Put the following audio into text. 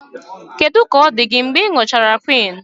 Kedu ka ọ dị gị mgbe ị gụchara quinn?